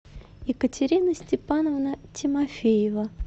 екатерина степановна тимофеева